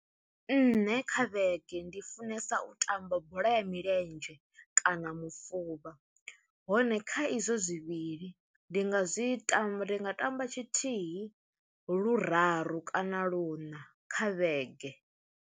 Nṋe kha vhege ndi funesa u tamba bola ya milenzhe kana mufuvha, hone kha izwo zwivhili ndi nga zwi tamba ndi nga tamba tshithihi luraru kana luṋa kha vhege.